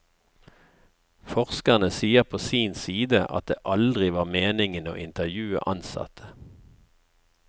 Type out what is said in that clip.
Forskerne sier på sin side at det aldri var meningen å intervjue ansatte.